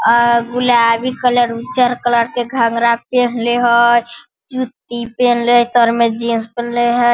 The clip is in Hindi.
आ गुलाबी कलर उज्जर कलर के घगरा पहनले हई जूती पेहनले हई तर में जीन्स पेहनले हई।